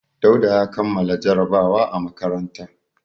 Dauda ya kammala jarabawa a makaranta.